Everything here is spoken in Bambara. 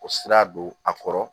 O sira don a kɔrɔ